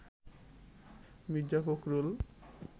Mirza Fakhrul